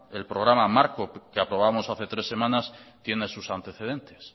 el programa marco que aprobamos hace tres semanas tiene sus antecedentes